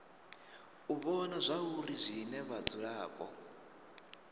u vhona zwauri zwine vhadzulapo